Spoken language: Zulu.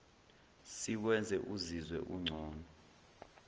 sikwenze uzizwe ungcono